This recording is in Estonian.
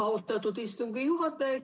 Austatud istungi juhataja!